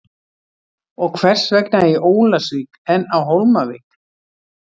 Og hvers vegna í Ólafsvík en á Hólmavík?